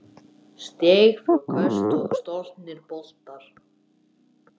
Stig, fráköst og stolnir boltar